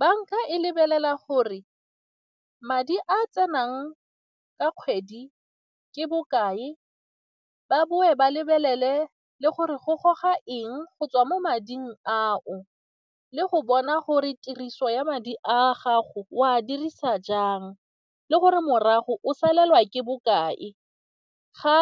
Banka e lebelela gore madi a tsenang ka kgwedi ke bokae, ba bone ba lebelele le gore go goga eng go tswa mo mading ao le go bona gore tiriso ya madi a gago o a dirisa jang le gore morago o salelwa ke bokae ga